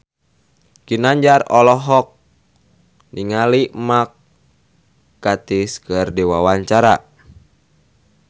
Ginanjar olohok ningali Mark Gatiss keur diwawancara